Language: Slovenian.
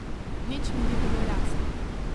Nič mi ni bilo jasno.